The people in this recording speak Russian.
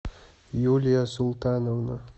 юлия султановна